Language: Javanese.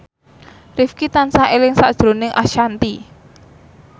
Rifqi tansah eling sakjroning Ashanti